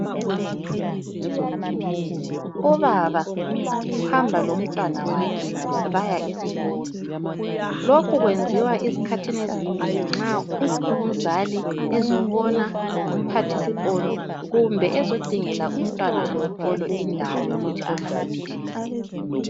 Ubaba uhamba lomntwana wakhe baya esikolo. Lokhu kwenziwa esikhathini ezinengi nxa umzali ezobona umphathisikolo kumbe ezodingela umntwana wesikolo indawo yokuthi afunde.